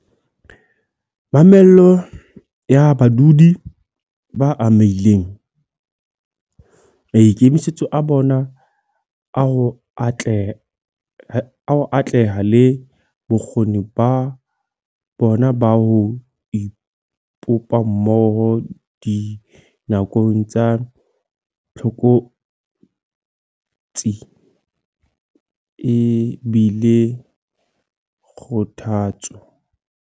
Mamello ya badudi ba amehileng, maikemisetso a bona a ho atleha le bokgoni ba bona ba ho ipopa mmoho dinakong tsa tlokotsi e bile kgothatso.